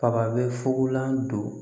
Faba bɛ fugulan don